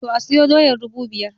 To, asiyo doyar dubu biyar